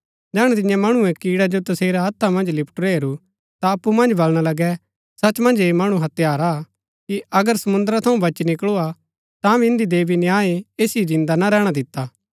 जैहणै तिन्ये मणुऐ कीड़ै जो तसेरै हत्था मन्ज लिपटूरा हेरू ता अप्पु मन्ज बलणा लगै सच मन्ज ऐह मणु हत्यारा हा कि अगर समुंद्र थऊँ बची निकळू तांभी इन्दी देवी न्याय ऐसिओ जिन्दा ना रैहणा दिता